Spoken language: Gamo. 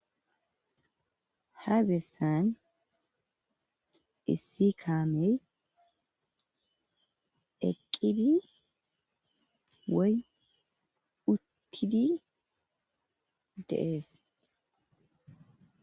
Ha beessan issi kaamey eqqidi woy uttidi deees.